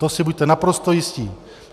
To si buďte naprosto jistí.